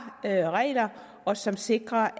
regler og som sikrer